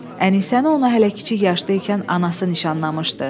Ənisəni ona hələ kiçik yaşda ikən anası nişanlamışdı.